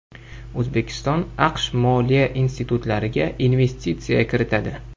O‘zbekiston AQSh moliya institutlariga investitsiya kiritadi.